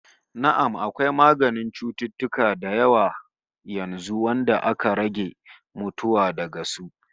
Na'am, akwai maganin cututtuka da yawa yanzu wanda aka rage mutuwa daga su